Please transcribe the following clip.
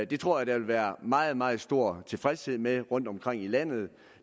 det tror jeg der vil være meget meget stor tilfredshed med rundtomkring i landet